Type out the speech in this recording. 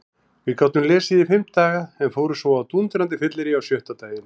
Við gátum lesið í fimm daga en fórum svo á dúndrandi fyllerí sjötta daginn.